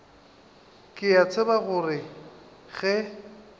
ke a tseba gore ge